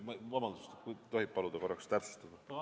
Vabandust, kas tohib korraks paluda täpsustada?